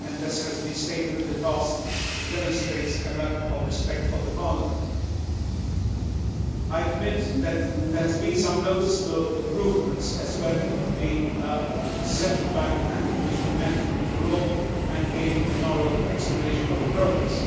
As has been stated in the past, it demonstrates a lack of respect for Parliament. I admit that there have been some noticeable improvements, as when the Central Bank and the Commission met with the Bureau and gave an oral explanation of progress.